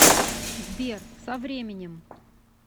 сбер со временем